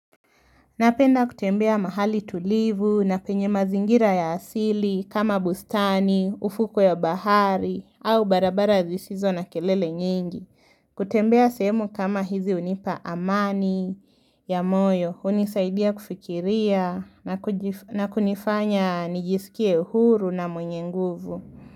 Napenda kutembea mahali tulivu na penye mazingira ya asili kama bustani, ufuko ya bahari au barabara zisizo na kelele nyingi. Kutembea sehemu kama hizi hunipa amani ya moyo, hunisaidia kufikiria na kunifanya nijisikie huru na mwenye nguvu.